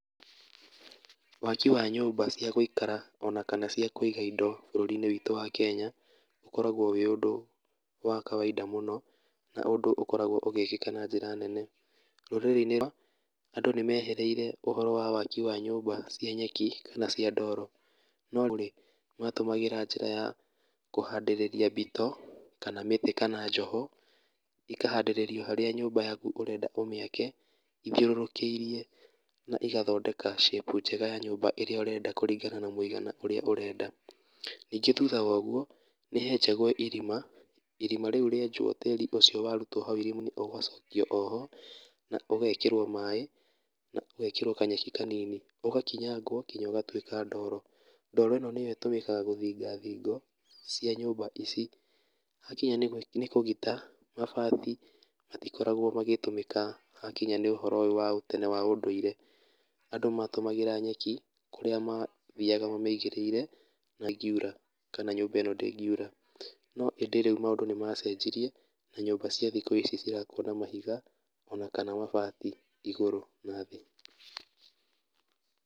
Waki wa nyũmba cia gũikara ona kana cia kũiga indo bũrũri-inĩ witũ wa Kenya ũkoragwo wĩ ũndũ wa kawaida mũno, na ũndũ ũkoragwo ũgĩĩkĩka na njĩra nene. Rũrĩrĩ-inĩ andũ nĩ mehereire ũhoro wa waki wa nyũmba cia nyeki kana cia ndoro, no kũrĩ matũmagĩra njĩra ya kũhandĩrĩria mbito, kana mĩtĩ kana njoho, ikahandĩrĩrio harĩa nyũmba yaku ũrenda ũmĩake, ithiũrũrũkĩirie na igathondeka shape njega ya nyũmba ĩrĩa ũrenda kũringana na mũigana ũrĩa ũrenda. Ningĩ thutha wa ũguo, nĩ henjagwo irima, irima rĩu rĩenjwo tĩri ũcio warutwo hau irima-inĩ ũgacokio o ho, na ũgekĩrwo maaĩ, na ũgekĩrwo kanyeki kanini, ũgakinyangwo nginya ũgatuĩka ndoro. Ndoro ĩno nĩyo ĩtũmĩkaga gũthinga thingo cia nyũmba ici. Hakinya nĩ kũgita, mabati matikoragwo magĩtũmĩka hakinya nĩ ũhoro ũyũ wa ũtene ma ũndũire., andũ matũmagĩra nyeki kũrĩa mathiaga mamĩigĩrĩire kana nyũmba ĩno ndĩngiura. No ĩndĩ rĩu maũndũ nĩ macenjirie, na nyũmba cia thikũ ici cirakwo na mahiga, ona kana mabati igũrũ na thĩĩ.